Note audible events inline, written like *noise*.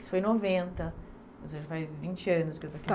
Isso foi em noventa, ou seja, faz vinte anos que eu estou *unintelligible*